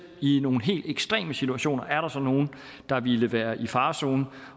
i helt ekstreme situationer er nogen der ville være i farezonen